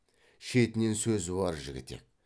шетінен сөзуар жігітек